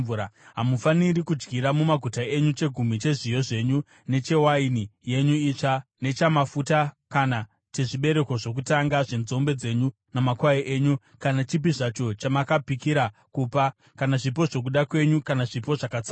Hamufaniri kudyira mumaguta enyu chegumi chezviyo zvenyu nechewaini yenyu itsva nechamafuta, kana chezvibereko zvokutanga zvenzombe dzenyu namakwai enyu, kana chipi zvacho chamakapikira kupa, kana zvipo zvokuda kwenyu kana zvipo zvakatsaurwa.